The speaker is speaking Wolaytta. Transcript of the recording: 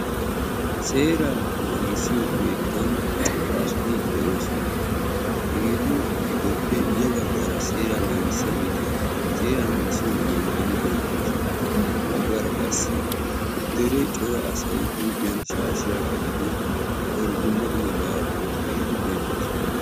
Seera naagissiyo keettan cora asati de"oosona. Hegetu giddoppe ya baggaara seera naagissiyaageeti seera naagissiyo maayyuwa maayyidi beettoosona. Ha baggaara qassi dere cora asay huuphiyan shaashshiya qaccidi daro dumma dummaba wottidaageeti beettoosona.